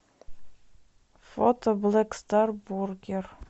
фото блэк стар бургер